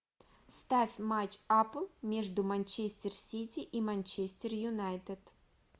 ставь матч апл между манчестер сити и манчестер юнайтед